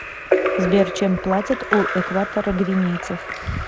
сбер чем платят у экваторогвинейцев